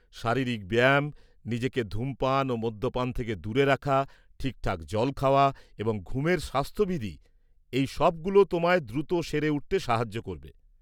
শারীরিক ব্যায়াম, নিজেকে ধূমপান ও মদ্যপান থেকে দূরে রাখা, ঠিকঠাক জল খাওয়া, এবং ঘুমের স্বাস্থ্যবিধি, এই সবগুলো তোমায় দ্রুত সেরে উঠতে সাহায্য করবে।